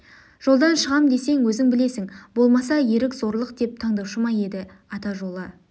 жолдан шығам десең өзің білесің болмаса ерік зорлық деп тандаушы ма еді ата жолы